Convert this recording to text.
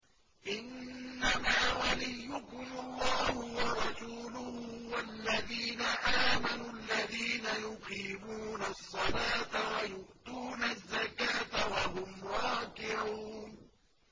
إِنَّمَا وَلِيُّكُمُ اللَّهُ وَرَسُولُهُ وَالَّذِينَ آمَنُوا الَّذِينَ يُقِيمُونَ الصَّلَاةَ وَيُؤْتُونَ الزَّكَاةَ وَهُمْ رَاكِعُونَ